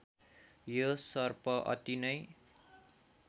यो सर्प अति नै